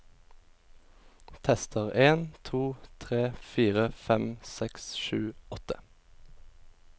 Tester en to tre fire fem seks sju åtte